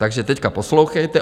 Takže teď poslouchejte.